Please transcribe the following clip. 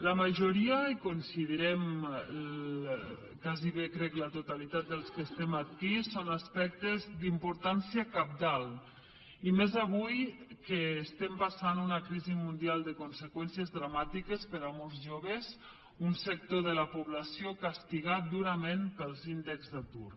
la majoria i ho considerem gairebé crec la totalitat dels que som aquí són aspectes d’importància cabdal i més avui que estem passant una crisi mundial de conseqüències dramàtiques per a molts joves un sector de la població castigat durament pels índexs d’atur